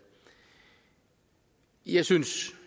jeg synes